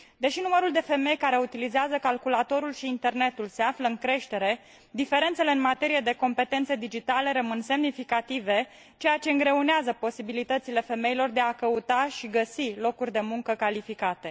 Deși numărul de femei care utilizează calculatorul și internetul se află în creștere, diferențele în materie de competențe digitale rămân semnificative, ceea ce îngreunează posibilitățile femeilor de a căuta și găsi locuri de muncă calificate.